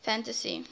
fantasy agito xiii